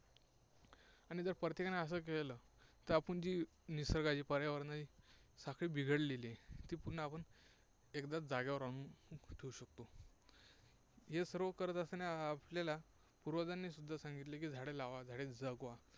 आणि जर प्रत्येकाने असं केलं, तर आपण ती निसर्गाची, पर्यावरणाची साखळी जी बिघडलेली आहे, ती पुन्हा आपण एकदा जागेवर आणून ठेवू शकतो. हे सर्व करत असताना आपल्याला पूर्वजांनी सुद्धा सांगितलेलं आहे की, झाडे लावा, झाडे जगवा.